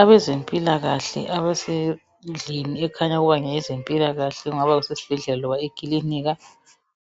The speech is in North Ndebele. Abezempilakahle abesendlini ekhanya ukuba ngeze zempilakahle kungaba sesibhedlela kumbe eclinikhi